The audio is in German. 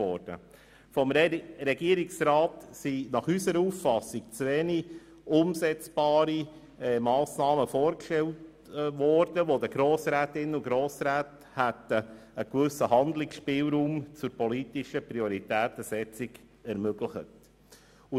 Der Regierungsrat hat nach unserer Auffassung zu wenige umsetzbare Massnahmen vorgestellt, um den Grossrätinnen und Grossräten einen gewissen Handlungsspielraum zur politischen Prioritätensetzung zu ermöglichen.